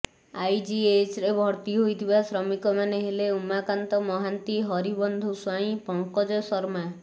ଆଇଜିଏଚ୍ରେ ଭର୍ତ୍ତି ହୋଇଥିିବା ଶ୍ରମିକମାନେ ହେଲେ ଉମାକାନ୍ତ ମହାନ୍ତି ହରିବନ୍ଧୁ ସ୍ୱାଇଁ ପଙ୍କଜ ଶର୍ମା